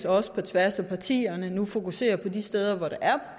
også på tværs af partierne nu fokuserer på de steder hvor der er